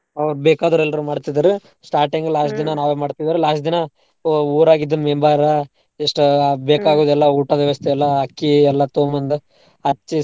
ಅವ್ರ್ ಬೇಕಾದೋರೇಲ್ರೂ ಮಾಡ್ತಿದ್ರೀ starting last ದಿನಾ ನಾವೇ ಮಾಡ್ತಿವ್ರೀ last ದಿನಾ ಊ~ ಊರಾಗಿದ್ member ಎಷ್ಟ್ ಎಲ್ಲಾ ಊಟದ್ ವ್ಯವಸ್ತೆ ಎಲ್ಲಾ ಅಕ್ಕಿ ಎಲ್ಲಾ ತಗೊಂಬಂದು ಅಚ್ಚಿ.